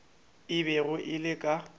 e bego e le ka